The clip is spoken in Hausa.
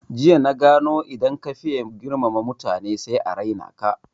Jiya na gano idan ka faye girmama mutane sai a raina ka